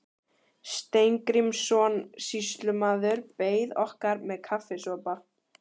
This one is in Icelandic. Steingrímsson sýslumaður beið okkar með kaffisopa.